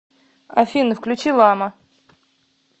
афина включи лама